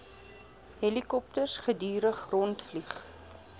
helikopters gedurig rondvlieg